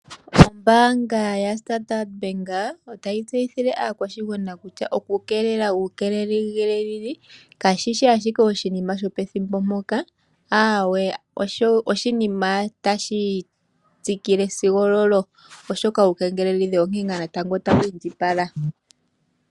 Ombaanga ya Standard otayi tseyithile aakwashigwana kutya ku keelele uukengeleli kashishi ashike oshinima shopethimbo, aawe osho o oshinima tashi tsikile oshoka uukengeleledhi onkene ngaa tawu indjipala.